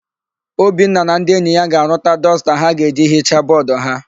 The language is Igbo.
Obinna na ndị enyi ya ga-arụta dọsta ha ga-eji hichaa bọọdụ ha.